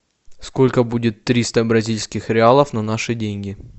сколько будет триста бразильских реалов на наши деньги